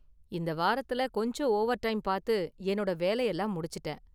இந்த வாரத்துல கொஞ்சம் ஓவர்டைம் பாத்து என்னோட வேலையெல்லாம் முடிச்சுட்டேன்.